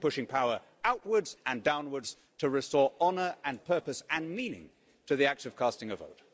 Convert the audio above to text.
We should be pushing power outwards and downwards to restore honour and purpose and meaning to the act of casting a vote.